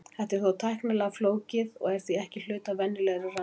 Þetta er þó tæknilega flókið og er því ekki hluti af venjulegri rannsókn.